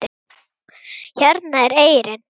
Hérna er eyrin.